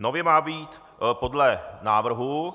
Nově má být podle návrhu